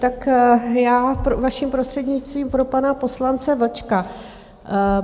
Tak já vaším prostřednictvím pro pana poslance Vlčka.